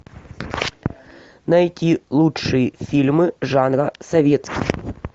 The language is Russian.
найти лучшие фильмы жанра советский